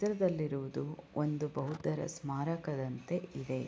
ಚಿತ್ರದಲ್ಲಿ ಇರುವುದು ಒಂದು ಬೌದ್ಧರ ಸ್ಮಾರಕದಂತೆ ಇದೆ.